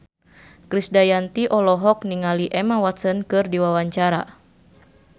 Krisdayanti olohok ningali Emma Watson keur diwawancara